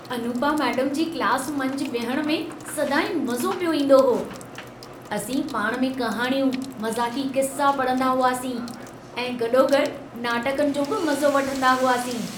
Anupama madam ji class मंझि विहण में सदाईं मज़ो पियो ईंदो हो। असीं पाणि में कहाणियूं, मज़ाक़ी क़िस्सा पढ़ंदा हुआसीं ऐं गॾोगॾु नाटकनि जो बि मज़ो वठंदा हुआसीं।